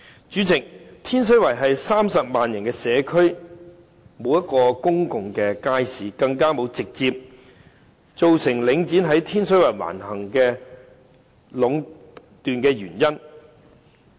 主席，天水圍是30萬人的社區，卻沒有一個公眾街市，更是直接造成領展在天水圍橫行壟斷原因。